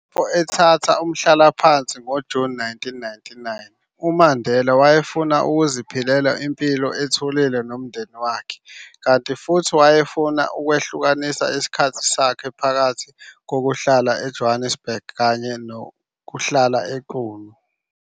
Ethatha umhlalaphansi ngoJuni 1999, uMandela wayefuna ukuziphilela impilo ethulile nomndeni wakhe, kanti futhi efuna ukwehlukanisa isikhathi sakhe phakathi kokuhlala eJonnesburg kanye naseQunu.